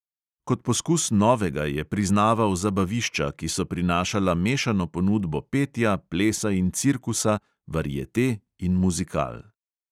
Kot poskus novega je priznaval zabavišča, ki so prinašala mešano ponudbo petja, plesa in cirkusa, variete in muzikal.